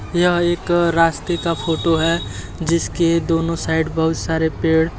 यह एक रास्ते का फोटो है जिसके दोनों साइड बहुत सारे पेड़ --